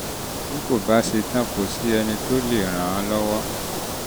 bí kò bá ṣe tán kò sí ẹni tó lè ràn án lọ́wọ́